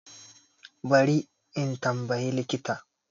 Bari in tambaye likita